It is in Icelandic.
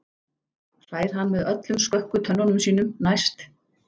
hlær hann með öllum skökku tönnunum sínum, næst